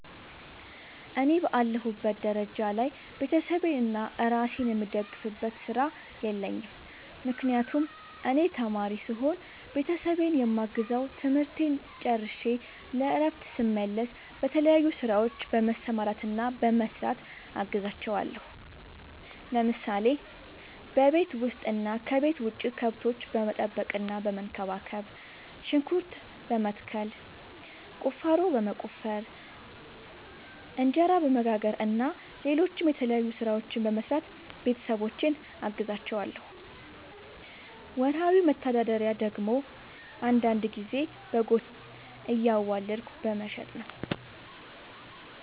እኔ በአለሁበት ደረጃ ላይ ቤተሰቤንና እራሴን የምደግፍበት ስራ የለኝም። ምክንያቱም እኔ ተማሪ ስሆን ቤተሰቤን የማግዘው ትምህርቴን ጨርሸ ለእረፍት ስመለስ በተለያዩ ስራዎች በመሰማራትና በመስራት አግዛቸዋለሁ። ለምሳሌ፦ በቤት ውስጥ እና ከቤት ውጭ ከብቶች በመጠበቅና በመንከባከብ፣ ሽንኩርት በመትከል፣ ቁፋሮ በመቆፈር፣ እንጀራ በመጋገር እና ሌሎችም የተለያዩ ስራዎችን በመስራት ቤተሰቦቼን አግዛቸዋለሁ። ወርሃዊ መተዳደሪያ ደግሞ አንዳንድ ጊዜ በጎችን እያዋለድኩ በመሸጥ ነው።